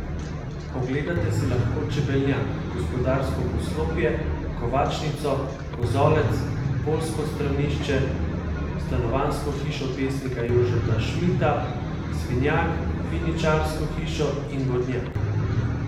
Ogledate si lahko čebelnjak, gospodarsko poslopje, kovačnico, kozolec, poljsko stranišče, stanovanjsko hišo pesnika Jožeta Šmita, svinjak, Viničarsko hišo in vodnjak.